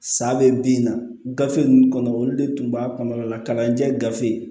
Sa bɛ bin na gafe ninnu kɔnɔ olu de tun b'a kɔnɔna la kalan tɛ gafe